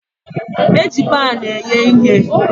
Eji pan eghe ihe.